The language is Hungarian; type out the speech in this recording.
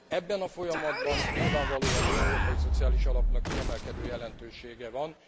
Ebben a folyamatban nyilvánvalóan az Európai Szociális Alapnak kiemelkedő jelentősége van.